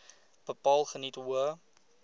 bepaal geniet hoë